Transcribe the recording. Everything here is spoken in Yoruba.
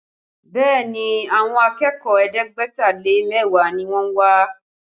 Bẹẹ ni, àwọn akẹ́kọ̀ọ́ ẹ̀ẹ́dẹ́gbẹ̀ta lé mẹ́wàá ni wọ́n wá